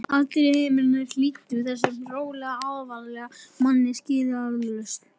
Allir á heimilinu hlýddu þessum rólega, alvarlega manni skilyrðislaust.